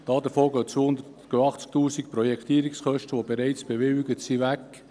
Davon gehen 80 000 Franken Projektierungskosten, die bereits bewilligt sind, weg.